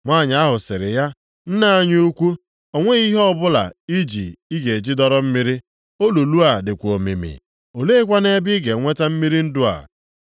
Nwanyị ahụ sịrị ya, “Nna anyị ukwu, o nweghị ihe ọbụla i ji ị ga-eji dọrọ mmiri, olulu a dịkwa omimi. Oleekwanụ ebe ị ga-eweta mmiri ndụ a.